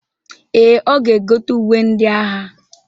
Ee, ọ ga-egote uwe ndị agha.